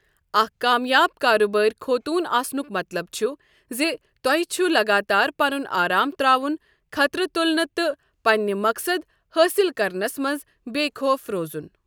اَکھ کامیاب کارٕبٲرۍ خوطون آسنُک مطلب چُھ زِ تۄہہ چُھ لَگاتار پَنُن آرام ترٛاون خطرٕ تُلٕنہِ تہٕ پَنٕنہِ مقصد حٲصِل کرنَس منٛز بےٚ خوف روزُن۔